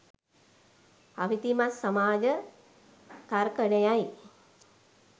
අවිධිමත් සමාජ තර්කනයයි